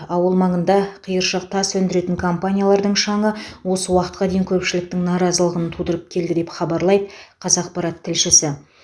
ауыл маңында қиыршық тас өндіретін компаниялардың шаңы осы уақытқа дейін көпшіліктің наразылығын тудырып келді деп хабарлайды қазақпарат тілшісі